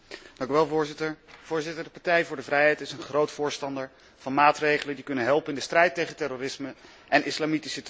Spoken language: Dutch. Voorzitter, de Partij voor de Vrijheid is een groot voorstander van maatregelen die kunnen helpen in de strijd tegen terrorisme, en islamitische terreur in het bijzonder.